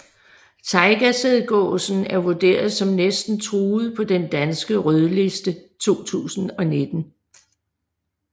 Tajgasædgåsen er vurderet som næsten truet på den danske rødliste 2019